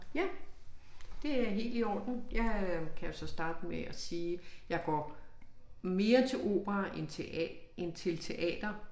Ja det er helt i orden. Jeg øh kan jo så starte med at sige jeg går mere til opera end end til teater